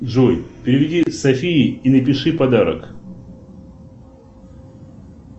джой переведи софии и напиши подарок